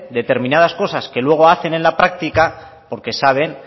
determinadas cosas que luego hacen en la práctica porque saben